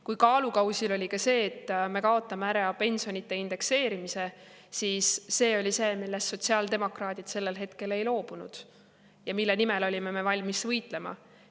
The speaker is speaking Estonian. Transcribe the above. Kui kaalukausil oli see, et me kaotame ära pensionide indekseerimise, siis see oli see, millest sotsiaaldemokraadid sellel hetkel ei loobunud ja mille nimel me olime valmis võitlema.